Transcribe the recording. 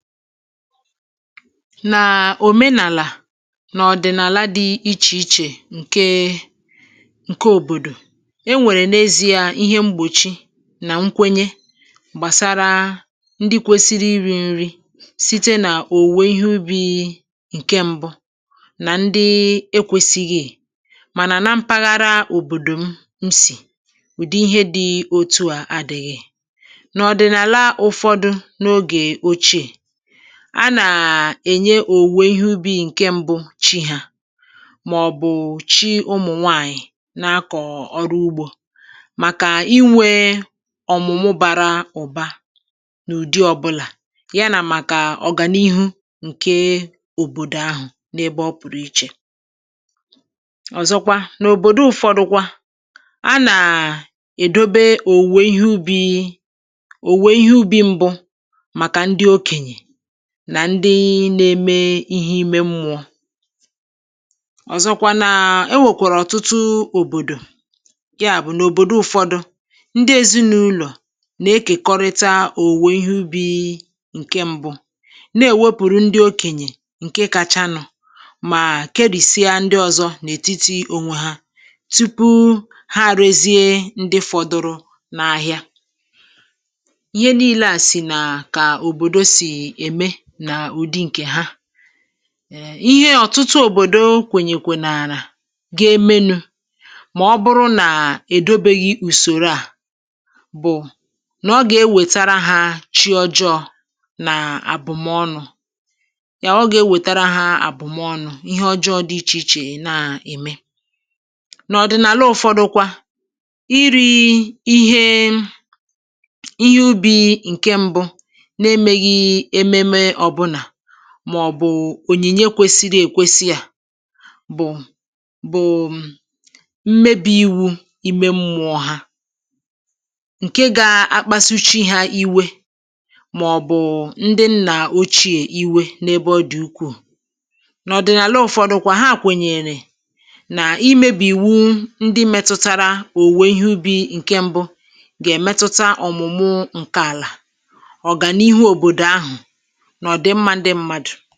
Nà, òmenàlà n’ọ̀dị̀nàla dị̇ ichè ichè ǹke ǹke òbòdò, e nwèrè n’ezi̇a ihe mgbòchi nà nkwenye gbàsara ndị kwesiri iri̇ nri̇ site nà òwùwè ihe ubi̇i̇ ǹke ṁbụ̇ nà ndị ekwesighiì, mànà na mpaghara òbòdò m nsì, ùdi ihe dị̇ otu à adịghị. N’ọ̀dị̀nàla ụ̇fọdụ n’ogè ochiè, a nàà ènye òwùwè ihe ubi̇ ǹke mbụ Chi hȧ, màọ̀bụ̀ Chi ụmụ̀nwaànyị̀ na-akọ̀ọ̀ ọrụ ugbȯ màkà inwė ọ̀mụ̀mụ̀ bara ụ̀ba n’ụ̀dị ọbụlà, ya nà màkà ọ̀gànihu ǹke òbòdò ahụ̀ n’ebe ọ pụ̀rụ̀ ichè. ọzọkwa n’òbòdo ụ̀fọdụkwa, a nà èdobe òwùwè ihe ubi̇ òwùwè ihe ubi̇ mbụ̇ maka ndị okenye nà ndị na-eme ihe ime mmụ̇ọ̇. Ozọkwa na e nwèkwàrà ọ̀tụtụ òbòdò, yàbụ̀ nà òbòdò ụ̀fọdụ ndị èzinàụlọ̀ nà-ekèkọrịta òwùwè ihe ubì ǹke mbụ̇, na-èwepùrù ndị okènyè ǹke kacha nu mà kèrìsia ndị ọ̀zọ n’ètitì onwe ha, tupu ha reziè ndị fọdụrụ n’ahịa. Ihe niilė à sì nà kà òbòdò sì eme na ụdị nke ha, ee ihe ọ̀tụtụ òbòdo kwènyèkwenààlà ga-emenu̇ màọbụrụ nà èdobeghị̇ ùsòro à bụ̀ nà ọ gà-enwètàrà ha chi ọjọọ̇ nà àbụ̀mọnụ̀ ya ọ gà-enwètàrà ha àbụ̀mọnụ̀ ihe ọjọọ̇ dị ichè ichè na-ème. N’ọ̀dị̀nàla ụ̀fọdụkwa, iri̇ ihe ihe ubi̇ ǹke mbụ̇ na-emeghị ememe ọbụna màọ̀bụ̀ ònyìnye kwesịrị èkwesị à bụ̀ bụ̀ m mmebi̇ iwu̇ ime mmụọ̇ ha. Nke gȧ-akpasu chi hȧ iwe màọ̀bụ̀ ndị nnà-òchiė iwe n’ebe ọ dị̀ ukwuù. N' ọ̀dị̀nàla ụ̀fọdụ̀kwà, ha kwènyèrè nà imėbì iwu ndị mètụ̇tara òwùwè ihe ubi̇ ǹke ṁbụ̇ gà-èmetuta ọ̀mụ̀mụ ǹke àlà, ọ̀gànihu̇ òbòdò ahụ̀, na ọdị mma ndị mmadụ̀.